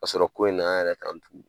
Kasɔrɔ ko in na an yɛrɛ kan tugu